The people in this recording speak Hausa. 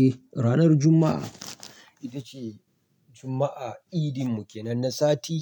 Eh, ranar Juma'a ita ce Juma'a, idinmu ke nan na sati,